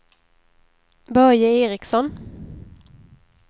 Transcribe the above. Börje Ericson